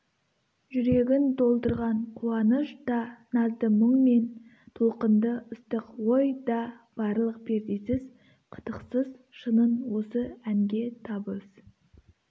жүрегін толтырған қуаныш та назды мұң мен толқынды ыстық ой да барлық пердесіз қытықсыз шынын осы әнге табыс